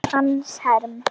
Hannes Herm.